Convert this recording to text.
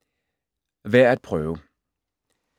Værd at prøve